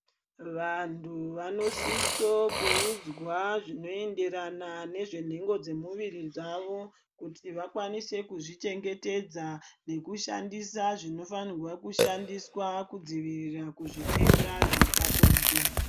Vantu vanosiso kuwudzwa zvinoyenderana nezvenhengo dzemumwiri dzavo, kuti vakwanise kuzvichengetedza nekushandisa zvinofanigwa kushandiswa kudzivirira kuzvitenda zvepabonde.